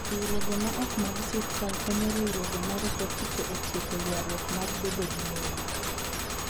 Riwruoge ma ok mag sirkal konyo riwruoge ma rito chike e tieko ywarruok mag bedo gi lowo.